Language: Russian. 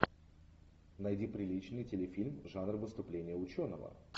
найди приличный телефильм жанр выступление ученого